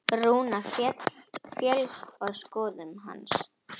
Rúna féllst á skoðun hans.